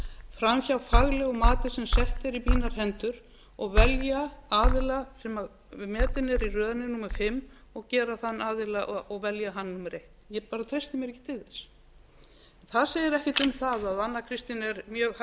fram hjá faglegu mati sem sett er í mínar hendur og velja aðila sem metin er í röðinni númer fimm og gera þann aðila og velja hann númer eitt ég bara treysti mér ekki til þess það segir ekkert um það að anna kristín er mjög hæf